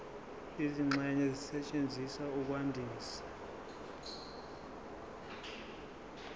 izingxenye ezisetshenziswa ukwandisa